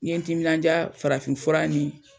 N ye n timinandiya farafin fura ni